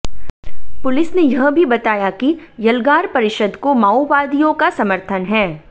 police ने यह भी बताया कि यलगार परिषद को माओवादियों का समर्थन है